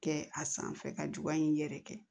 Kɛ a sanfɛ ka juguya in yɛrɛ kɛ